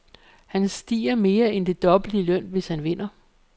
Han stiger mere end det dobbelte i løn, hvis han vinder.